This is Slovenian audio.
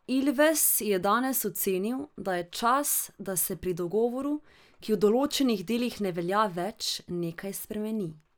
Ilves je danes ocenil, da je čas, da se pri dogovoru, ki v določenih delih ne velja več, nekaj spremeni.